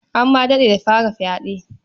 An ma daɗe da fara fyaɗe.